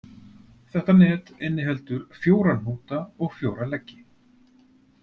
Þetta net inniheldur fjóra hnúta og fjóra leggi.